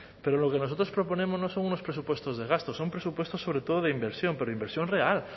pero lo que nosotros proponemos no son unos presupuestos de gastos son presupuestos sobre todo de inversión pero inversión real